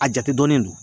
A jate dɔnnen don